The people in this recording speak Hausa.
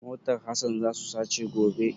Motar Hasan za su sace gobe.